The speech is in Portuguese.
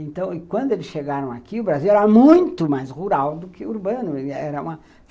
Então, quando eles chegaram aqui, o Brasil era muito mais rural do que urbano. Era uma